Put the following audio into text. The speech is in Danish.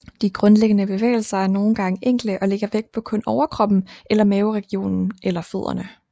De grundlæggende bevægelser er nogen gange enkle og lægger vægt på kun overkroppen eller maveregionen eller fødderne